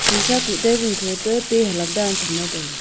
sisa ku table kho to pealak dan cham la taiga.